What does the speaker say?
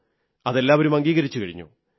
അത് എല്ലാവരും അംഗീകരിച്ചുകഴിഞ്ഞു